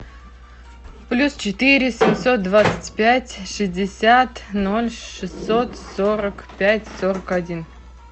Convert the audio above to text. плюс четыре семьсот двадцать пять шестьдесят ноль шестьсот сорок пять сорок один